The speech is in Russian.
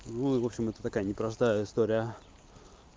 ну в общем это такая непростая история